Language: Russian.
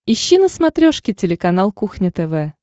ищи на смотрешке телеканал кухня тв